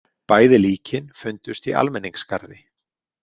Bæði líkin fundust í almenningsgarði.